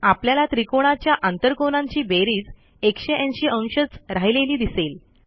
आपल्याला त्रिकाणाच्या आंतरकोनांची बेरीज 180 अंशच राहिलेली दिसेल